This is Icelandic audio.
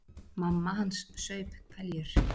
Mamma hans saup hveljur.